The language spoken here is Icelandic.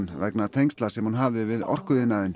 vegna tengsla sem hún hafði við orkuiðnaðinn